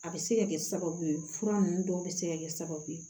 A bɛ se ka kɛ sababu ye fura ninnu dɔw bɛ se ka kɛ sababu ye